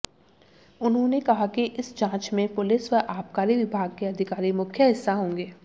उन्होंने कहा कि इस जांच में पुलिस व आबकारी विभाग के अधिकारी मुख्य हिस्सा होंगे